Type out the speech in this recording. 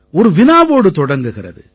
ஒரு வினாவோடு தொடங்குகிறது